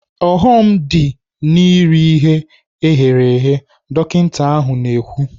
"ọghọm dị n'iri ihe eghere eghe." Dọkinta ahụ na-ekwu.